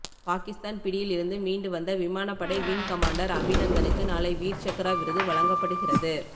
பாகிஸ்தான் பிடியில் இருந்து மீண்டு வந்த விமானப்படை விங் கமாண்டர் அபிநந்தனுக்கு நாளை வீர் சக்ரா விருது வழங்கப்படுகிறது